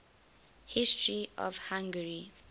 history of hungary